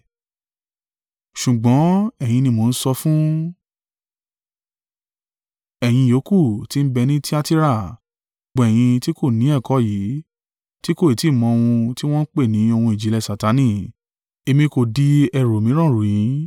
Ṣùgbọ́n ẹ̀yin ni mò ń sọ fún, ẹ̀yin ìyókù tí ń bẹ ní Tiatira, gbogbo ẹ̀yin tí kò ni ẹ̀kọ́ yìí, ti kò ì tí ì mọ̀ ohun tí wọn pè ni ohun ìjìnlẹ̀ Satani, èmi kò di ẹrù mìíràn rù yín,